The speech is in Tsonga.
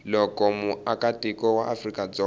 loko muakatiko wa afrika dzonga